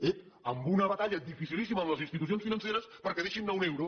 ep amb una batalla dificilíssima amb les institucions financeres perquè deixin anar un euro